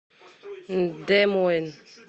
де мойн